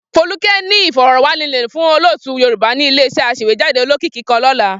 Folúkẹ́ ní ìfọ̀rọ̀wánilẹ́nuwò fún olótùú Yorùbá ní ilé-iṣẹ́ aṣèwéjádé olókìkí kan lọ́la.